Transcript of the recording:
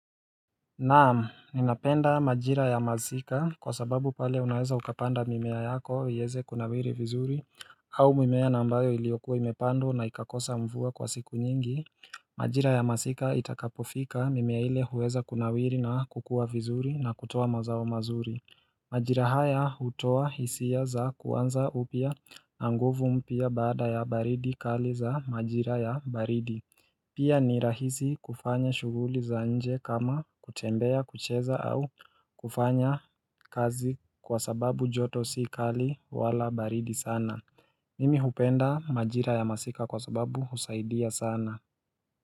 Naam, ninapenda majira ya masika kwa sababu pale unaweza ukapanda mimea yako iweze kunawili vizuri au mimea na ambayo iliyokua imepandwa na ikakosa mvua kwa siku nyingi Majira ya masika itakapofika mimea ile huweza kunawiri na kukua vizuri na kutoa mazao mazuri Majira haya hutoa hisia za kuanza upya na nguvu mpya baada ya baridi kali za majira ya baridi Pia ni rahisi kufanya shughuli za nje kama kutembea kucheza au kufanya kazi kwa sababu joto si kali wala baridi sana Nimi hupenda majira ya masika kwa sababu husaidia sana.